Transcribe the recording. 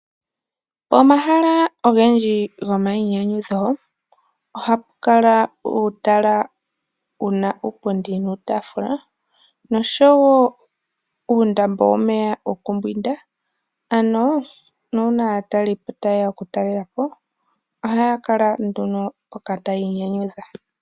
Omahala ongendji gomainyanyudho, oha pu kala pena uupundi nuutafula, nosho wo uundambo womeya wokumbwinda, ano nuuna aatalelipo ta yeya oku talelapo, oha ya kala nduno mpoka ta ya inyanyudha.